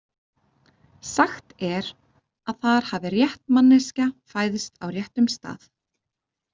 Sagt er að þar hafi rétt manneskja fæðst á réttum stað.